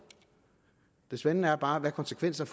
det spændende er bare hvilke konsekvenser